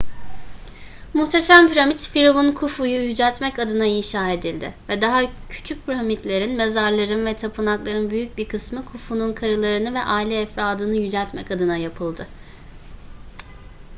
muhteşem piramit firavun khufu'yu yüceltmek adına inşa edildi ve daha küçük piramitlerin mezarların ve tapınakların büyük bir kısmı khufu'nun karılarını ve aile efradını yüceltmek adına yapıldı